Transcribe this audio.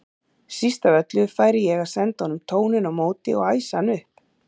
Síst af öllu færi ég að senda honum tóninn á móti og æsa hann upp.